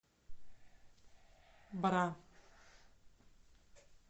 бра